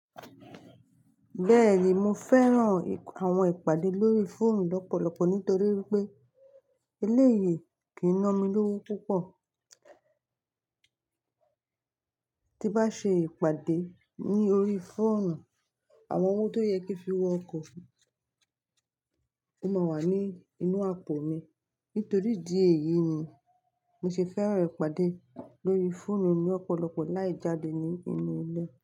Bẹ́ẹ̀ni, mo fẹ́ran àwọn ìpàdé lórí fóònù lọ́pọ̀lọpọ̀ nítorí wípé eléyìí kìí ná mi lówó púpọ̀. Ti n bá ṣe ìpàdé ní orí fóònù, àwọn owó tó yẹ kí n fi wọ ọkọ̀, o máa wà ní inú àpò mi. Nítorí ìdí èyí ni mí ṣe fẹ́ran ìpàdé lórí fóònù ní ọ̀pọ̀lọpọ̀ láì jáde ní inú ilé.